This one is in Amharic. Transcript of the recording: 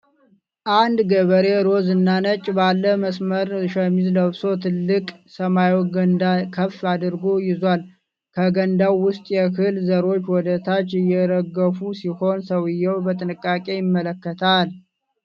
አንድ ገበሬ ሮዝ እና ነጭ ባለ መስመር ሸሚዝ ለብሶ ትልቅ ሰማያዊ ገንዳ ከፍ አድርጎ ይዟል። ከገንዳው ውስጥ የእህል ዘሮች ወደ ታች እየረገፉ ሲሆን፣ ሰውየው በጥንቃቄ ይመለከታል።